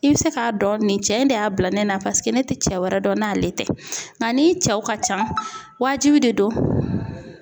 I bɛ se k'a dɔn nin cɛ in de y'a bila ne na ,paseke ne tɛ cɛ wɛrɛ dɔn n'ale tɛ ,nka n'i cɛw ka ca, wajibi de don